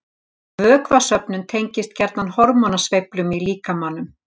Vökvasöfnun tengist gjarnan hormónasveiflum í líkamanum